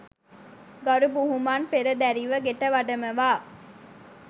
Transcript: ගරු බුහුමන් පෙරදැරිව ගෙට වඩමවා